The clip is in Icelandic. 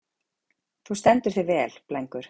Þú stendur þig vel, Blængur!